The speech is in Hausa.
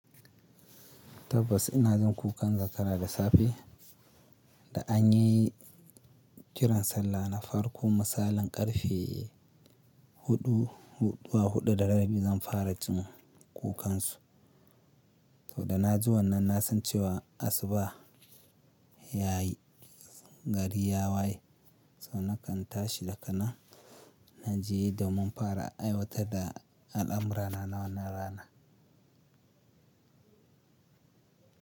Tabbas ina jin kukan zakara da safe da an yi kiran sallah na farko. Masalin ƙarfe huɗu, huɗu da rabi zan fara jin kukansu. So da na ji wannan na san cewa asuba ya yi, gari ya waye. So nakan tashi daga nan na je da mun fara aiwatar da al'amurana na wannan rana.